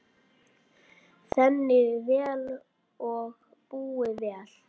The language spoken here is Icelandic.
Þéni vel og búi vel.